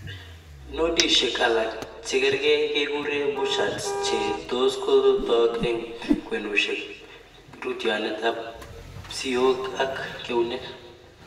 nodishek alak che gerge kekure bouchards che tos kotak eng' kwenushek rootyonet ap siot ap keunek